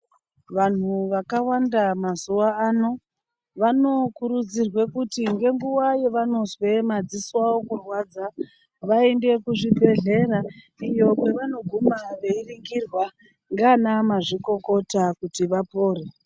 Vanhu vakawanda mazuva ano vanokurudzirwe kuti ngenguva ye vanonzwe madziso kurwadza vaende kuzvi bhehlera iyo kwavano guma veiningirwa ngana mazvikokota kuti vapore.